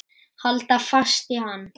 Halda fast í hann!